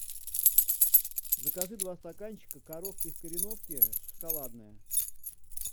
закажи два стаканчика коровка из кореновки шоколадное